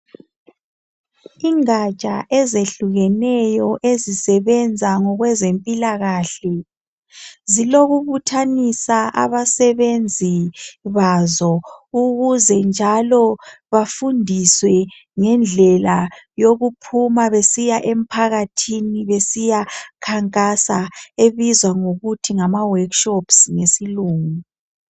Ingatsha ezehlukeneyo ezisebenza ngokwezempilakahle zilokubuthanisa abasebenzi bazo ukuze njalo bafundiswe ngendlela yokuphuma besiya emphakathini besiyakhankasa ebizwa ngokuthi ngama workshops ngesilungu .